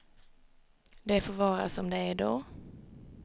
Det får vara som det är då.